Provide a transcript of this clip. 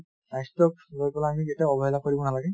স্বাস্থাক পৰা আমি কেতিয়াও অবহেলা কৰিব নালাগে |